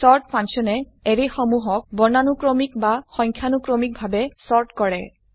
sort function এ এৰে সমুহক বৰ্ণানুক্ৰমিক সংখ্যানুক্ৰমিক ভাবে চৰ্ট কৰে